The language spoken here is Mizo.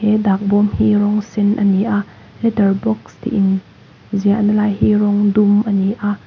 he dak bawm hi rawng sen a ni a letter box tih in ziahna lai hi rawng dum a ni a.